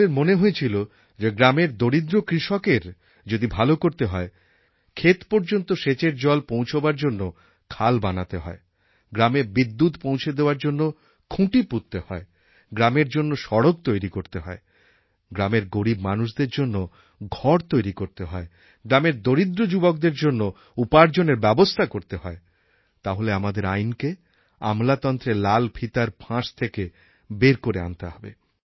সকলের মনে হয়েছিল যে গ্রামের দরিদ্র কৃষকের যদি ভালো করতে হয় ক্ষেত পর্যন্ত সেচের জল পৌঁছবার জন্য খাল বানাতে হয় গ্রামে বিদ্যুৎ পৌঁছে দেওয়ার জন্য খুঁটি পুঁততে হয় গ্রামের জন্য সড়ক তৈরি করতে হয় গ্রামের গরীব মানুষদের জন্য ঘর তৈরি করতে হয় গ্রামের দরিদ্র যুবকদের জন্য উপার্জনের ব্যবস্থা করতে হয় তাহলে আমাদের আইনকে আমলাতন্ত্রের লাল ফিতার ফাঁস থেকে বের করে আনতে হবে